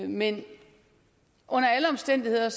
men under alle omstændigheder